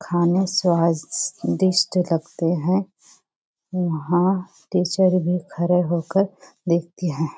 खाने स्वादिष्ट लगते हैं वहाँ टीचर भी खड़े होकर देखते हैं।